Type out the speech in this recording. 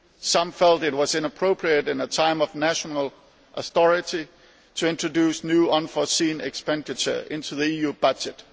Some felt it was inappropriate at a time of national austerity to introduce new unforeseen expenditure in the EU budget.